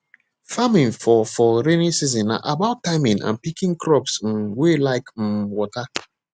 farming for for rainy season na about timing and picking crops um wey like um water